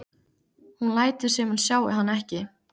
Hún lætur sem hún sjái hann ekki.